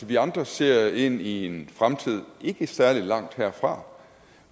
vi andre ser ind i en fremtid ikke særlig langt herfra